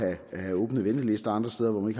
at have åbne ventelister og andre steder hvor man